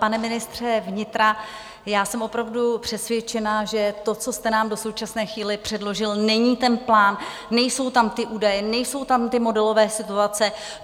Pane ministře vnitra, já jsem opravdu přesvědčena, že to, co jste nám do současné chvíle předložil, není ten plán, nejsou tam ty údaje, nejsou tam ty modelové situace.